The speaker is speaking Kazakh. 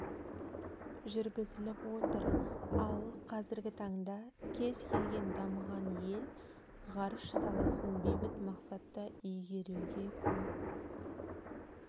жүргізіліп отыр ал қазіргі таңда кез келген дамыған ел ғарыш саласын бейбіт мақсатта игеруге көп